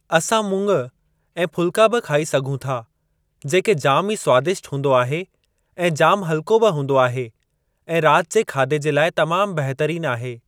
असां मुंङ ऐं फुल्का बि खाई सघूं था जेके जाम ई स्वादिष्ट हूंदो आहे ऐं जाम हल्को बि हूंदो आहे ऐं राति जे खाधे जे लाइ तमाम बहितरीन आहे।